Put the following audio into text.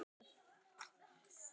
Baróninn hló við.